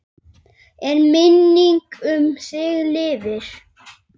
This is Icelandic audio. En minning um þig lifir.